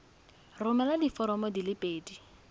romela diforomo di le pedi